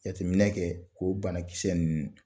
Jateminɛ kɛ k'o banakisɛ ninnu